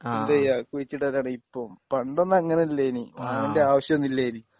എന്ത് ചെയ്യുകവാ കുഴിച്ചിടലാണ് ഇപ്പം പണ്ടൊന്നും അങ്ങനെ അല്ലാനി വാങ്ങണ്ട ആവശ്യം ഒന്നുമില്ലാനി